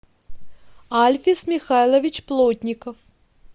альфис михайлович плотников